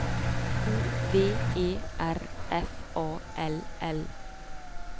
O V E R F A L L